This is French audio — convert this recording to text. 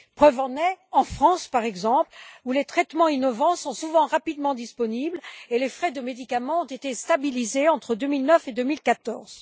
Preuve en est, en France, par exemple, où les traitements innovants sont souvent rapidement disponibles et les frais de médicaments ont été stabilisés entre 2009 et 2014.